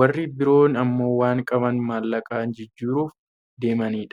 warri biroon ammoo waan qaban maallaqaan jijjiiruuf deemanidha.